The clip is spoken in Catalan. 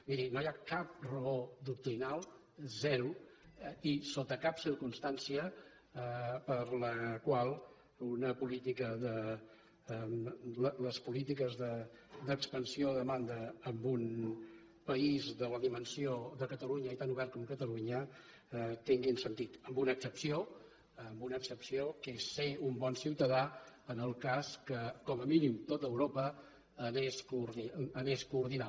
miri no hi ha cap raó doctrinal zero i sota cap circumstància per la qual les polítiques d’expansió de demanda en un país de la dimensió de catalunya i tan obert com catalunya tinguin sentit amb una excepció amb una excepció que és ser un bon ciutadà en el cas que com a mínim tot europa anés coordinada